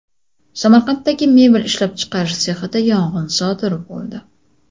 Samarqanddagi mebel ishlab chiqarish sexida yong‘in sodir bo‘ldi.